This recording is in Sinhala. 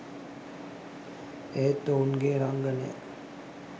ඒත් ඔවුන්ගේ රංගනය